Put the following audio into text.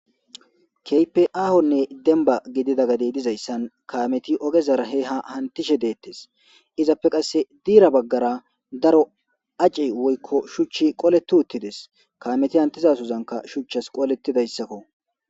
Demba gidida gadey dizayssan kameti ogezara he ha hantishe deettes izappe qasse diira baggara daro aci woykko shuchchi qoleti uttides kameti hantizasuzanka shuchchas qooletidayssakko.